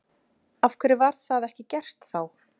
Af hverju var það ekki gert þá?